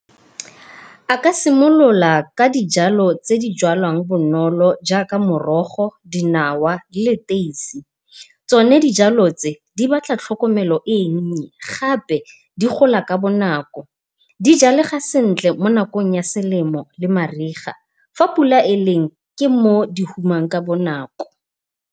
A ka simolola ka dijalo tse di jwalwang bonolo jaaka morogo, dinawa le leteisi. Tsone dijalo tse di batla tlhokomelo e nnye gape di gola ka bonako. Di jalega sentle mo nakong ya selemo le mariga fa pula e leng ke moo di humang ka bonako.